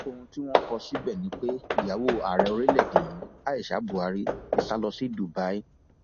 ohun tí wọn kọ síbẹ ni pé ìyàwó ààrẹ orílẹèdè yìí aisha buari ti sá lọ sí dubai